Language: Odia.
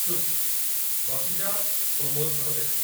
ଚୁପ୍‌! ବସି ଯାଅ ଓ ମୋ' ସହ ଦେଖ।